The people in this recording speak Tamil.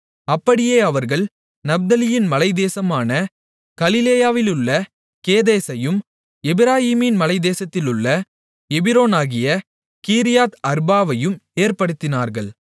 அப்படியே அவர்கள் நப்தலியின் மலைத்தேசமான கலிலேயாவிலுள்ள கேதேசையும் எப்பிராயீமின் மலைத்தேசத்தில் உள்ள எபிரோனாகிய கீரியாத் அர்பாவையும் ஏற்படுத்தினார்கள்